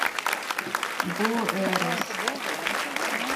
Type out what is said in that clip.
гуэрос